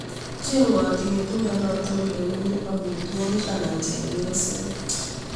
Chengati ngetundo notok ole menye, amitwokik ana chepyoset